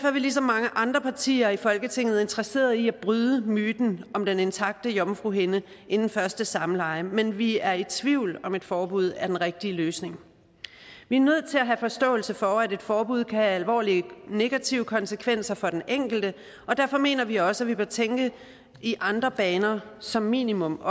er vi ligesom mange andre partier i folketinget interesseret i at bryde myten om den intakte jomfruhinde inden første samleje men vi er i tvivl om om et forbud er den rigtige løsning vi er nødt til at have forståelse for at et forbud kan have alvorlige negative konsekvenser for den enkelte og derfor mener vi at vi også bør tænke i andre baner som minimum